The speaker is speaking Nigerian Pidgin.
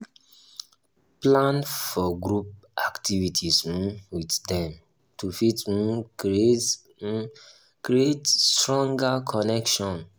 plan for group activities um with dem to fit um create um create stronger connection